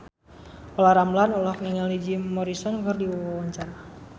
Olla Ramlan olohok ningali Jim Morrison keur diwawancara